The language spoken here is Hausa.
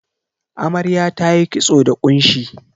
Amarya tayi kitso da ƙunshi.